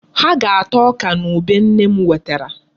Ha ga-ata ọka na ube nne m wetara.